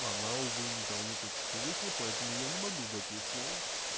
она увы недавно только что вышла поэтому я не могу дать ей слова